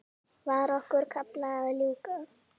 Var okkar kafla að ljúka?